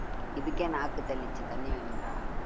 இதுக்கே நாக்கு தள்ளிச்சு, தண்ணி வேணுன்டா.